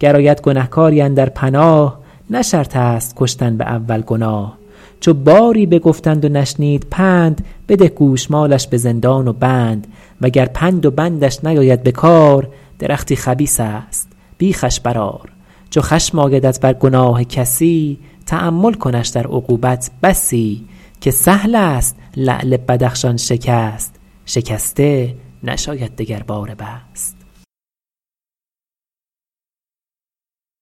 گر آید گنهکاری اندر پناه نه شرط است کشتن به اول گناه چو باری بگفتند و نشنید پند بده گوشمالش به زندان و بند وگر پند و بندش نیاید بکار درختی خبیث است بیخش برآر چو خشم آیدت بر گناه کسی تأمل کنش در عقوبت بسی که سهل است لعل بدخشان شکست شکسته نشاید دگرباره بست